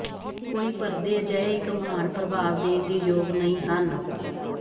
ਕੋਈ ਪਰਦੇ ਅਜਿਹੇ ਇੱਕ ਮਹਾਨ ਪ੍ਰਭਾਵ ਦੇਣ ਦੇ ਯੋਗ ਨਹੀ ਹਨ